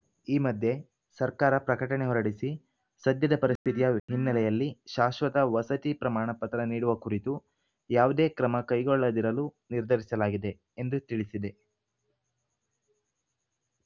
ಈ ಮಧ್ಯೆ ಸರ್ಕಾರ ಪ್ರಕಟಣೆ ಹೊರಡಿಸಿ ಸದ್ಯದ ಪರಿಸ್ಥಿತಿಯ ಹಿನ್ನೆಲೆಯಲ್ಲಿ ಶಾಶ್ವತ ವಸತಿ ಪ್ರಮಾಣಪತ್ರ ನೀಡುವ ಕುರಿತು ಯಾವುದೇ ಕ್ರಮ ಕೈಗೊಳ್ಳದಿರಲು ನಿರ್ಧರಿಸಲಾಗಿದೆ ಎಂದು ತಿಳಿಸಿದೆ